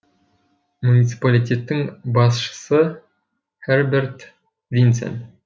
муниципалитеттің басшысы херберт винцен